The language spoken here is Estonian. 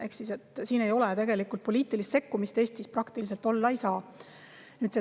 Ehk siis siin ei ole tegelikult poliitilist sekkumist, seda Eestis praktiliselt olla ei saa.